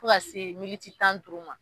Fo ka se tan ni duuru ma